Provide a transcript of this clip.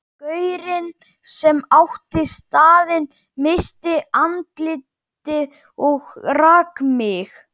Gaurinn sem átti staðinn missti andlitið og rak mig.